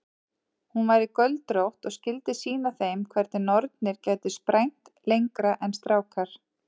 Hún væri göldrótt og skyldi sýna þeim hvernig nornir gætu sprænt lengra en strákar.